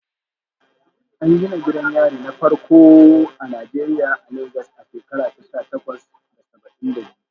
An gina gidan yari na farko a Najeriya a Legas a shekara ta sha takwas da saba'in da biyu.